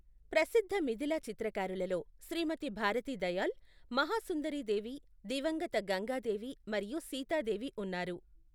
ప్రసిద్ధ మిథిలా చిత్రకారులలో శ్రీమతి భారతీ దయాళ్, మహాసుందరీ దేవి, దివంగత గంగా దేవి మరియు సీతాదేవి ఉన్నారు.